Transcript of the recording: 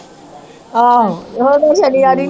ਆਹੋ ਉਹਦਾ ਸਨੀਵਾਰ ਹੀ ਨੀ